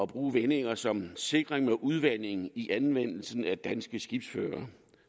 bruge vendinger som sikring mod udvanding i anvendelsen af danske skibsførere